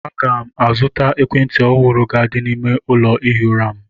A ga m azụta ekwentị ọhụrụ ga- adị n'ime ụlọ ihi ụra m.